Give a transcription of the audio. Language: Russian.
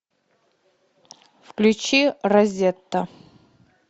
включи розетта